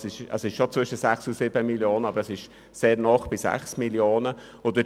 Der Betrag liegt zwar schon zwischen 6 und 7 Mio. Franken, aber er liegt sehr nahe bei 6 Mio. Franken.